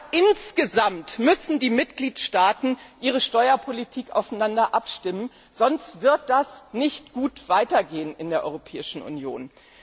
Aber insgesamt müssen die Mitgliedstaaten ihre Steuerpolitik aufeinander abstimmen, sonst wird das nicht gut weitergehen in der Europäischen Union.